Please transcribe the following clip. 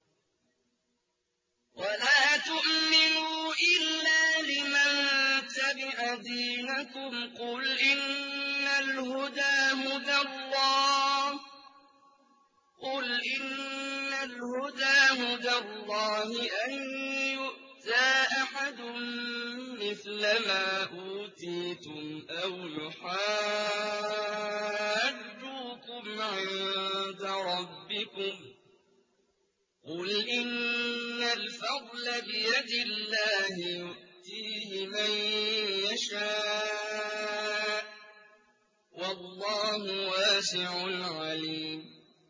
وَلَا تُؤْمِنُوا إِلَّا لِمَن تَبِعَ دِينَكُمْ قُلْ إِنَّ الْهُدَىٰ هُدَى اللَّهِ أَن يُؤْتَىٰ أَحَدٌ مِّثْلَ مَا أُوتِيتُمْ أَوْ يُحَاجُّوكُمْ عِندَ رَبِّكُمْ ۗ قُلْ إِنَّ الْفَضْلَ بِيَدِ اللَّهِ يُؤْتِيهِ مَن يَشَاءُ ۗ وَاللَّهُ وَاسِعٌ عَلِيمٌ